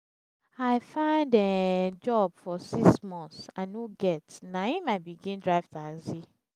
i find um job for six months i no get na im i begin drive taxi.